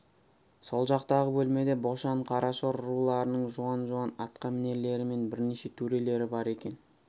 сол жақтағы бөлмеде бошан қарашор руларының жуан-жуан атқамінерлері мен бірнеше төрелері бар екен